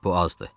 Bu azdı.